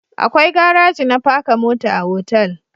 Akwai garaji na paka mota a otal